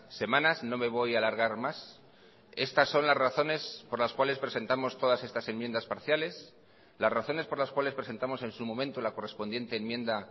semanas no me voy a alargar más estas son las razones por las cuales presentamos todas estas enmiendas parciales las razones por las cuales presentamos en su momento la correspondiente enmienda